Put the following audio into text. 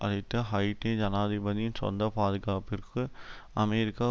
அழைத்து ஹைட்டி ஜனாதிபதியின் சொந்த பாதுகாப்பிற்கு அமெரிக்கா